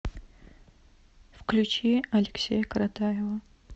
включи алексея каратаева